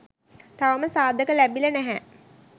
තවම සාධක ලැබිලා නැහැ